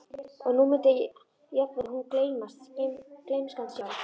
Og nú mundi jafnvel hún gleymast, gleymskan sjálf.